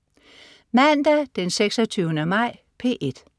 Mandag den 26. maj - P1: